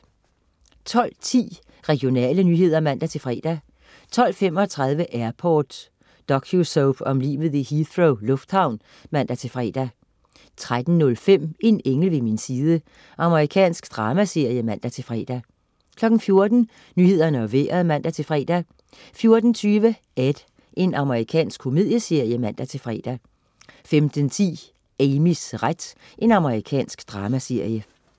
12.10 Regionale nyheder (man-fre) 12.35 Airport. Docusoap om livet i Heathrow lufthavn (man-fre) 13.05 En engel ved min side. Amerikansk dramaserie (man-fre) 14.00 Nyhederne og Vejret (man-fre) 14.20 Ed. Amerikansk komedieserie (man-fre) 15.10 Amys ret. Amerikansk dramaserie